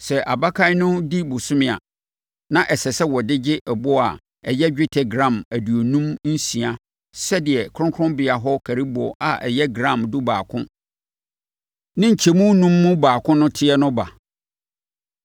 Sɛ abakan no di bosome a, na ɛsɛ sɛ wɔde ɔgye boɔ a ɛyɛ dwetɛ gram aduonum nsia sɛdeɛ kronkronbea hɔ nkariboɔ a ɛyɛ gram dubaako ne nkyemu anum mu baako no teɛ no ba.